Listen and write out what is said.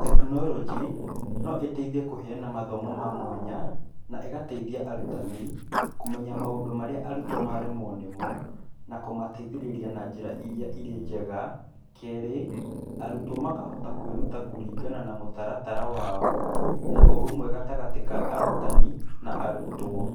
Technology, no ĩteithie kũheana mathomo ma mwanya, na ĩgateithia arutani kũmenya maũndũ marĩa arutwo maremwo nĩmo, na kũmateithĩrĩria na njĩra iria irĩ njega, keerĩ, arutwo makahota kwĩruta kũringana na mũtaratara wao, na ũrũmwe gatagatĩ ka arutani na arutwo.